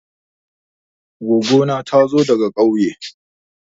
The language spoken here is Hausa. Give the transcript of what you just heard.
Goggo na ta zo daga ƙauye.